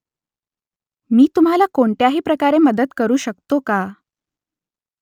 मी तुम्हाला कोणत्याही प्रकारे मदत करू शकतो का ?